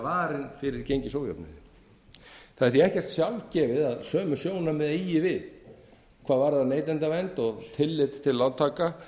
varin fyrir gengisójöfnuði það er því ekkert sjálfgefið að sömu sjónarmið eigi við hvað varðar neytendavernd og tillit til lántaka